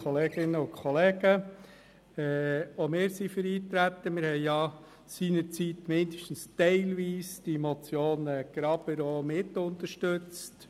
Seinerzeit hatten wir die Motion Graber zumindest teilweise mitunterstützt.